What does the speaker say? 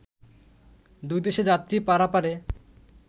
দুইদেশে যাত্রী পারাপারে